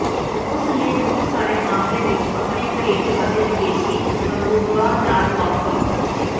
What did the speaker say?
ਉਸ ਨੇ ਬਹੁਤ ਸਾਰੇ ਮਾਮਲੇ ਵਿੱਚ ਆਪਣੇ ਘਰੇਲੂ ਅਤੇ ਵਿਦੇਸ਼ੀ ਹਮਰੁਤਬਾ ਨਾਲ ਮੁਆਫਕ